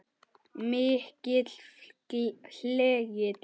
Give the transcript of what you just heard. Mikið hlegið.